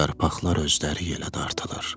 yarpaqlar özləri yelə dartılır.